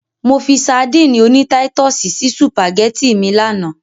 Mo fi sadíìnì oní táítọ̀sì sí sùpàgẹ́tì mi lánàá.